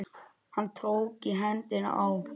Hann tók í hendina á